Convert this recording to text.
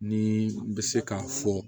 Ni u bɛ se k'a fɔ